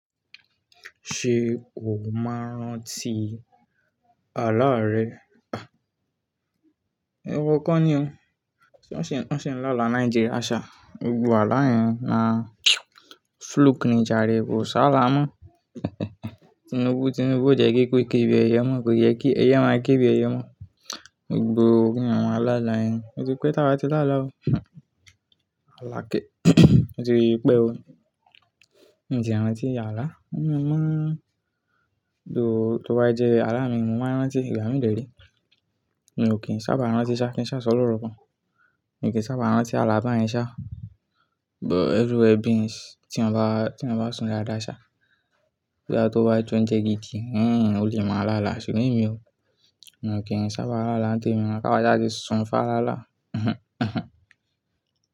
Ṣé o máa ń rántí àlá rẹ? Òrò kan ni o. Wọ́n ṣì ń lá àlá Nigeria ṣá, gbogbo àlá yẹn na fluke nijà rẹ̀, kò si álá mọ́. Tinubu, Tinubu ko jẹ́ kí ekú ke bí ẹyẹ mọ́, kò yẹ kí ẹyẹ máa kí bí ẹyẹ mọ́. Gbogbo kí èèyàn ma la àlá yẹn, ó ti pẹ́ ti àwa ti lá àlá o. Alá kẹ́. Ó ti pẹ́ o. Ǹtí e rántí àlá? Mo máa ń tó bá jẹ́ alámì, mo máa rántí, ìgbà mí dẹ̀ re. Èmi ò kí n sábà rántí ṣá, kí n ṣá sọ̀ loro kan. Èmi kì í sábà rántí alá bà yẹn ṣá, but everywhere beans tí èèyàn bá ti èèyàn ba sùn dáadáa ṣá. Tí á tó bá jẹ́ kí oúnjẹ gidi, o lè mọ la ala, ṣùgbọ́n èmi ò mi o kí n sábà la ala ni tèmi, kí àwa sa ti sùn fá àlá là.